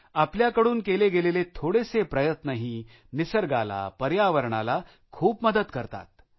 आपल्याकडून केले गेलेले थोडेसे प्रयत्नही निसर्गाला पर्यावरणाला खूप मदत करतात